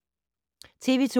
TV 2